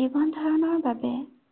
জীৱন ধাৰনৰ বাবে